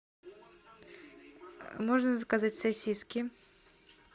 можно заказать сосиски